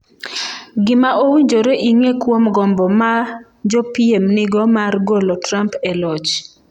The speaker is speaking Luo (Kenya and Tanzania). Gima owinjore ing’e kuom gombo ma jopiem nigo mar golo Trump e loch